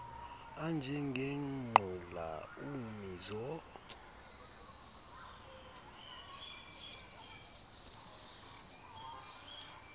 anje ngengqula ummizo